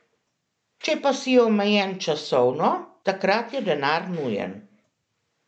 Če pa si omejen časovno, takrat je denar nujen.